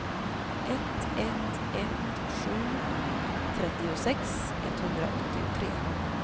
ett ett ett sju trettiosex etthundraåttiotre